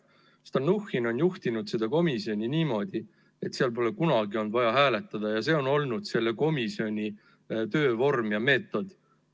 Stalnuhhin on juhtinud seda komisjoni niimoodi, et seal pole kunagi olnud vaja hääletada, see on olnud selle komisjoni töövorm ja meetod.